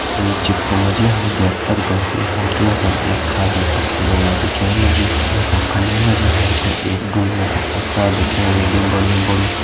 ये चित्र मा जी हम देख सक्दु की हम तें यखम एक खाली पक्की रोडा दिखेण लगीं जे का फुंडे मा जी हम तें एक ढुंगो का पुस्ता दिखेण लग्युं बणयूँ बड़ु।